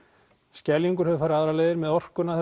Skeljungur hefur farið aðrar leiðir með orkuna